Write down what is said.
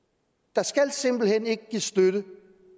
der simpelt hen ikke skal gives støtte